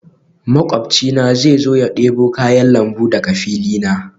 Makwabcina zai zo ya debo kayan lambu daga fili na